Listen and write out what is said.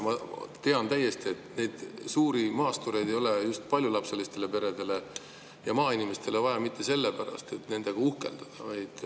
Ma tean hästi, et neid suuri maastureid ei ole paljulapselistele peredele ja maainimestele vaja mitte sellepärast, et nendega uhkeldada.